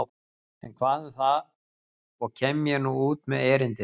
En hvað um það og kem ég nú út með erindið.